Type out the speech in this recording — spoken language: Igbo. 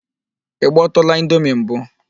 Ị gbọtụụla indomi mbụ?